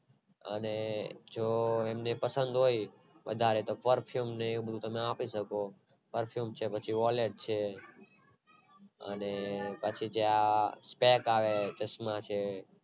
અને જો એમની પસંદ હોય તો વધારે તમે perfume ને એ બધું આપી શકો perfume છે પછી Wallet છે અને પછી આ Stump આવે ચશ્માં છે